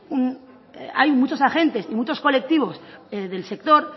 hay muchos agentes y muchos colectivos del sector